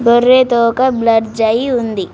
గొర్రె తోక బ్లర్జ్ అయి ఉంది.